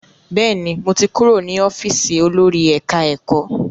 Bẹ́ẹ̀ni, mo ti kúrò ní ọ́fíìsì olórí ẹ̀ká-ẹ̀kọ́